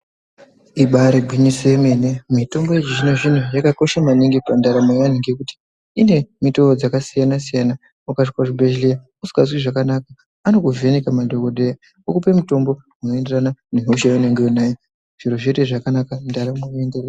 Ibaari gwinyiso yemene. Mitombo yechizvino zvino yakakosha maningi pandaramo yeanhu ngekuti ine mitoo dzakasiya -siyana. Ukasvika kuzvibhedhleya usikazwi zvakanaka, anokuvheneka madhokodheya, okupe mutombo unoenderana nehosha yaunenge uinayo. Zviro zvoite zvakanaka. Ndaramo yoende mberi.